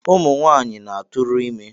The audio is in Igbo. Ụmụnwanyị na-atụrụ ime